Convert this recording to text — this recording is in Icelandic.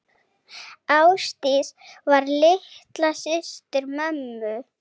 Ásdís var litla systir mömmu.